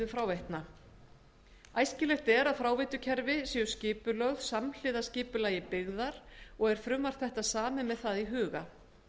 fráveitna talið er æskilegt að fráveitukerfi séu skipulögð samhliða skipulagi byggðar og er frumvarp þetta samið með það í huga